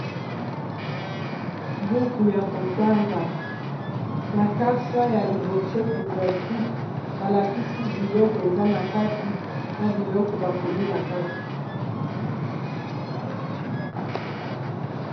Buku ya kotanga na kasa ya liboso couvertule balakisi biloko eza na kati na biloko bakomi na kati.